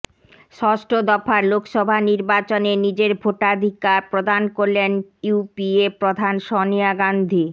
ষষ্ঠ দফার লোকসভা নির্বাচনে নিজের ভোটাধিকার প্রধান করলেন ইউপিএ প্রধান সনিয়া গাঁধী